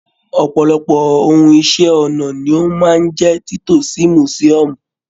ọpọlọpọ ohùn Iṣẹ́-ọnà ní o máa n jẹ tito sí musiòmu.